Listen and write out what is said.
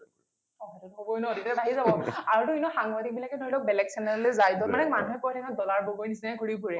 অ সেইটোতো হবই ন তেতিয়া বাঢ়ি যাব আৰু টো এনেইও সাংবাদিক বিলাকে ধৰি লওক বেলেগ channel লৈ যায় দ, মানে মানুহে কয় থাকে ন ডলাৰ বগৰী নিচিনাকৈ ঘূৰি ফুৰে।